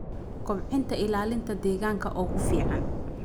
Kobcinta ilaalinta deegaanka ugu fiican.